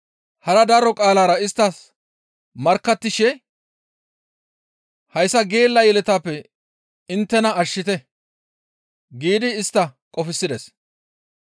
Hara daro qaalara isttas markkattishe, «Hayssa geella yeletaappe inttena ashshite» giidi istta qofsides.